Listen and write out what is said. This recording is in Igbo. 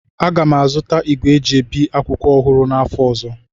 Aga m azụta igwe eji ebi akwụkwọ ọhụrụ n'afọ ọzọ